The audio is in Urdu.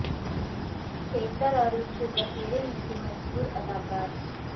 تھیٹر اور اس کے ذخیرے میں سے مشہور اداکار